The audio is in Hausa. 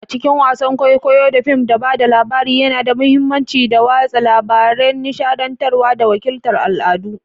A cikin wasan kwaikwayo da fim, ba da labari yana da mahimmanci don watsa labarai, nishadantarwa, da wakiltar al'adu.